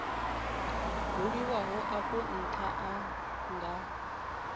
buliwaho afho ntha a nga